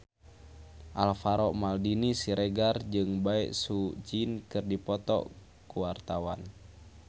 Alvaro Maldini Siregar jeung Bae Su Ji keur dipoto ku wartawan